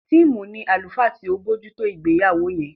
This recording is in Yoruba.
Tim ní àlùfáà tí o bojuto ìgbéyàwó yén